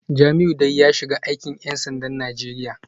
Jamiu dai ya shiga aikin ‘yan sandan Najeriya